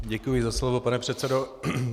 Děkuji za slovo, pane předsedo.